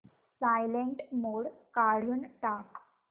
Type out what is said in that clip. silent mode काढून टाक